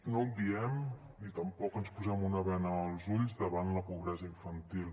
no obviem ni tampoc ens posem una bena als ulls davant la pobresa infantil